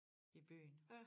I byen